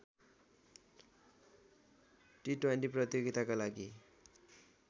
T twenty प्रतियोगिताका लागि